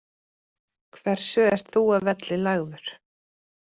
Hversu ert þú að velli lagður,